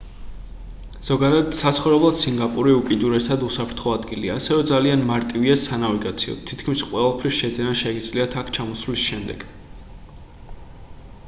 ზოგადად საცხოვრებლად სინგაპური უკიდურესად უსაფრთხო ადგილია ასევე ძალიან მარტივია სანავიგაციოდ თითქმის ყველაფრის შეძენა შეგიძლიათ აქ ჩამოსვლის შემდეგ